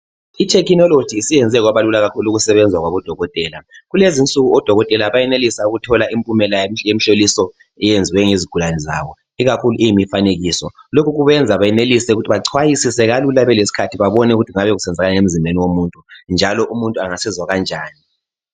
Ithekhinoloji isiyenze kwabalula kakhulu ukusebenza kwabodokotela. Kulezi insuku odokotela bayenelisa ukuthola impumela yemhloliso eyenziwe ngezigulane zabo ikakhulu iyimifanekiso. Lokho kubenza bayenelise ukuthi bachwayisise kalula belesikhathi babonisise ukuthi kuyabe kusenzakalani emzimbeni womuntu njalo umuntu angasizwa kanjani.